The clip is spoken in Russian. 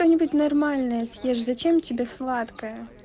что-нибудь нормальное съешь зачем тебе сладкое